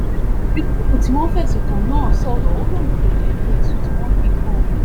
yusuf tí wọ́n fẹ̀sùn kàn náà sọ̀rọ̀ ó lóun kò jẹ̀bi ẹ̀sùn tí wọ́n fi kan òun